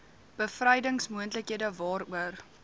bevrydings moontlikhede waaroor